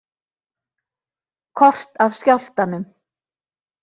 Kort af skjálftanum